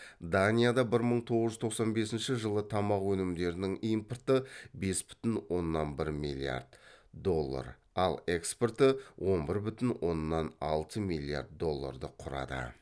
данияда бір мың тоғыз жүз тоқсан бесінші жылы тамақ өнімдерінің импорты бес бүтін оннан бір миллиард доллар ал экспорты он бір бүтін онанн алты миллиард долларды құрады